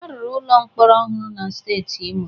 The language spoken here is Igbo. A rụrụ ụlọ mkpọrọ ọhụrụ na steeti Imo.